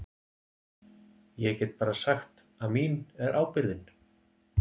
Ég get bara sagt að mín er ábyrgðin.